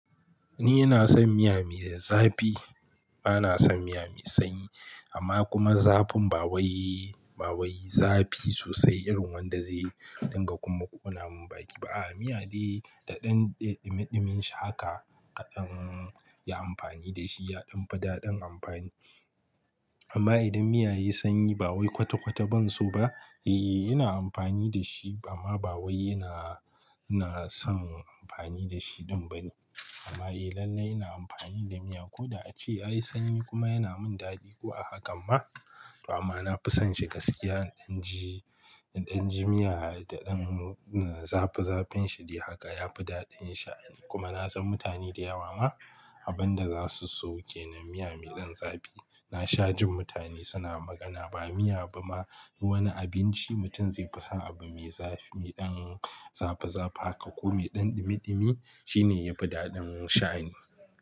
Ni ina son miya mai zafi. Bana son miya mai sanyi amma kuma zafin ba wai, ba wai zafi sosai irin wanda zai dinga kuma ƙona mun baki ba. A'a, miya dai da ɗan ɗimiɗimin shi haka ka ɗan yi amfani da shi ya ɗan fi daɗin amfani. Amma idan miya yayi sanyi ba wai kwata kwata ban so ba. Eh, ina amfani da shi amma ba wai ina, ina son amfani da shi ɗin ba ne. Amma a lallai ina amfani da miya ko da a ce yayi sanyi kuma yana mun daɗi ko a hakan ma. Amma na fi son shi gaskiya in ɗan ji, in ɗan ji miya da ɗan zafi zafin shi dai haka yafi daɗin sha'ni. Kuma na san mutane da yawa ma abin da za su so kenan miya mai ɗan zafi. Na sha jin mutane suna magana ba miya ba ma wani abinci mutum zai fi son abu mai zafi, ɗan zafi zafi haka ko mai ɗan ɗimi ɗimi shine yafi daɗin sha'ni.